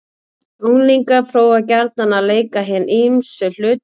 Unglingar prófa gjarnan að leika hin ýmsu hlutverk.